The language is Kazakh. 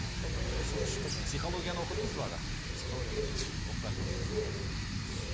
ол бір тылсым күш қой психологияны оқыдыңыз ба аға психологияны оқыған жоқпын оқыған жоқсыз мхм